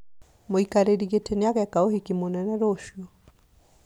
Mũikarĩri gĩtĩ nĩageka ũhiki mũnene rũciũ